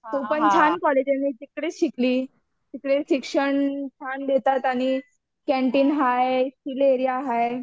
तो पण छान कॉलेज आहे मी पण तिकडेच शिकली तिकडे शिक्षण छान देतात आणि कँटीन हाय एरिया हाय.